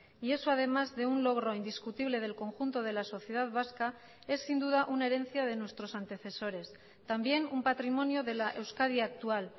y eso además de un logro indiscutible del conjunto de la sociedad vasca es sin duda una herencia de nuestros antecesores también un patrimonio de la euskadi actual